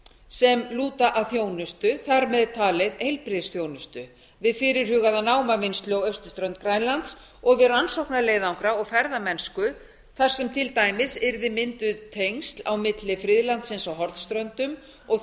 sem lúta að þjónustu þar með talið heilbrigðisþjónustu við fyrirhugaða námavinnslu á austurströnd grænlands og við rannsóknaleiðangra og ferðamennsku þar sem til dæmis yrði mynduð tengsl á milli friðlandsins á hornströndum og